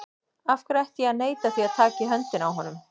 Af hverju ætti ég að neita því að taka í höndina á honum?